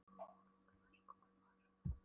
Hún Ingunn, það er sko kvenmaður!